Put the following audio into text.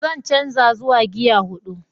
Zan canza zuwa gear hudu.